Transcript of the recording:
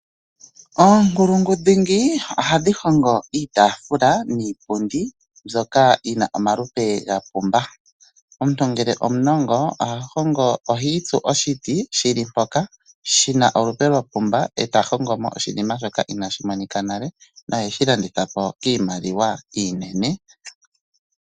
Oonkulungu dhingi ohadhi hongo iitafula niipundi mbyoka yina omalupe gapumba omuntu ngele omunongo ohahongo ohitsu oshiti shili mpoka shina olupe lwapumbwa eta hongomo oshina shoka ina shimonika nale no he shilandithapo kiimaliwa iinene.